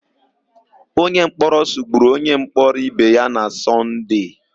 Onyemkpọrọ sụgburu onyemkpọrọ ibe ya na Sọnde.